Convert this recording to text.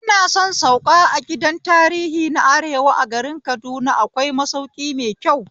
Ina son sauka a gidan tarihi na arewa a garin Kaduna, akwai masauki mai kyau